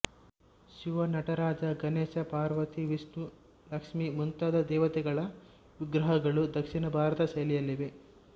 ಶಿವ ನಟರಾಜ ಗಣೇಶ ಪಾರ್ವತಿ ವಿಷ್ಣು ಲಕ್ಷ್ಮಿ ಮುಂತಾದ ದೇವತೆಗಳ ವಿಗ್ರಹಗಳು ದಕ್ಷಿಣ ಭಾರತದ ಶೈಲಿಯಲ್ಲಿವೆ